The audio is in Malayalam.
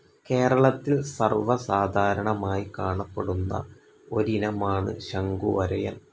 കേരളത്തിൽ സർവ്വസാധാരണമായി കാണപ്പെടുന്ന ഒരിനമാണ് ശംഖുവരയൻ.